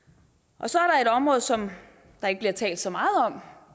så er der et område som der ikke bliver talt så meget om